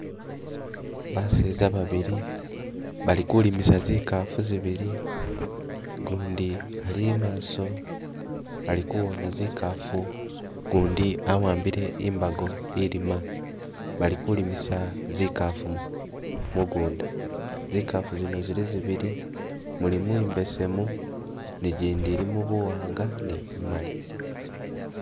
Baseza babili bali kulimisa zikafu zibili gundi ali i'maso ali kuwona zikafu gundi awambile imbago ilima, balikulimisa zikafu mugunda, zikafu zino zili zibili, mulimu imbesemu ni gyindi ilimu buwanga ni bumali